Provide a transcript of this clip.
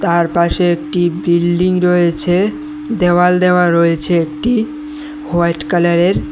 আর পাশে একটি বিল্ডিং রয়েছে দেওয়াল দেওয়া রয়েছে একটি হোয়াইট কালারের।